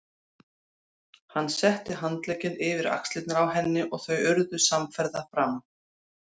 Hann setti handlegginn yfir axlirnar á henni og þau urðu samferða fram.